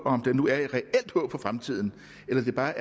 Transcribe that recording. om der nu er et reelt håb for fremtiden eller